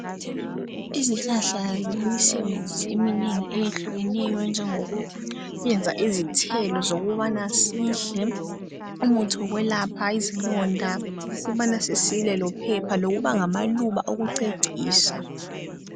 Izihlahla zilemisebenzi eminengi eyehlukeneyo enjengo kuyenza izithelo zokubana sidle, umuthi wokwelapha izilonda ukubana sisile lophepha lokuba ngamaluba okucecisa.